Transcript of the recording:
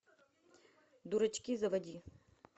дурачки заводи